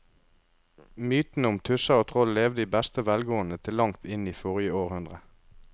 Mytene om tusser og troll levde i beste velgående til langt inn i forrige århundre.